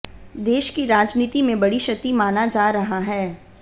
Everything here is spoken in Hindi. देश की राजनीति में बड़ी क्षति माना जा रहा है